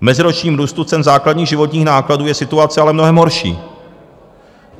V meziročním růstu cen základních životních nákladů je situace ale mnohem horší.